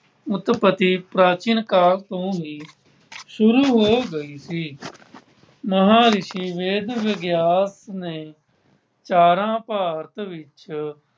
ਉੱਤਪਤੀ ਪ੍ਰਾਚੀਨ ਕਾਲ ਤੋਂ ਹੀ ਸ਼ੁਰੂ ਹੋ ਗਈ ਸੀ। ਮਹਾਂਰਿਸ਼ੀ ਵੇਦ ਵਿਆਸ ਨੇ ਚਾਰਾਂ ਭਾਰਤ ਵਿੱਚ